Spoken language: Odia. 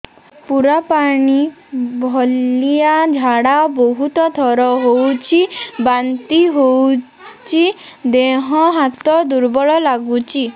ପୁରା ପାଣି ଭଳିଆ ଝାଡା ବହୁତ ଥର ହଉଛି ବାନ୍ତି ହଉଚି ଦେହ ହାତ ଦୁର୍ବଳ ଲାଗୁଚି